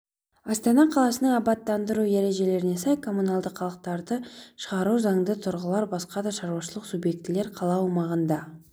астана қаласының абаттандыру ережелеріне сай коммуналды қалдықтарды шығару заңды тұлғалар басқа да шаруашылық субъектілер қала аумағында